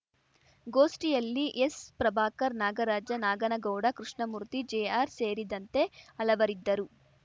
ಗೋಷ್ಠಿಯಲ್ಲಿ ಎಸ್‌ಪ್ರಭಾಕರ್‌ ನಾಗರಾಜ ನಾಗನಗೌಡ ಕೃಷ್ಣಮೂರ್ತಿ ಜೆಆರ್‌ ಸೇರಿದಂತೆ ಹಲವರಿದ್ದರು